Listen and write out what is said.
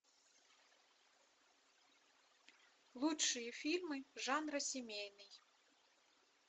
лучшие фильмы жанра семейный